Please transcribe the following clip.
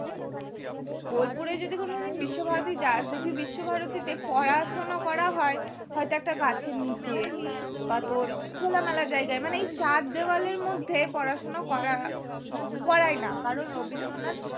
বোলপুরে যদি কোনোদিন বিশ্বভারতী যাস দেখবি বিশ্বভারতী তে পড়াশোনা করা হয় হয়তো একটা গাছের নিচে বা তোর খোলা মেলা জায়গা করা হয় চার দেওয়ালের মধ্যে পড়াশোনা করা করাই না কারণ রবীন্দ্রনাথ